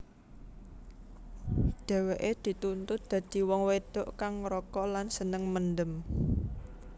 Dheweke dituntut dadi wong wedok kang ngrokok lan seneng mendem